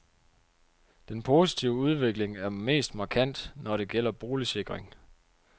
Den positive udvikling er mest markant, når det gælder boligsikring.